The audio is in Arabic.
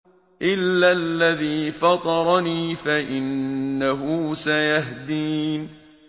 إِلَّا الَّذِي فَطَرَنِي فَإِنَّهُ سَيَهْدِينِ إِلَّا الَّذِي فَطَرَنِي فَإِنَّهُ سَيَهْدِينِ